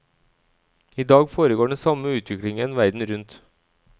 I dag foregår den samme utviklingen verden rundt.